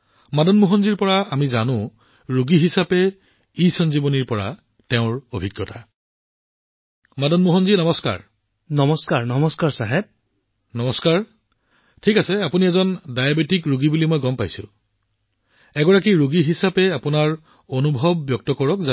আহক আমি মদন মোহনজীৰ পৰা জনাওঁ যে ইসঞ্জীৱনী সম্পৰ্কে ৰোগী হিচাপে তেওঁৰ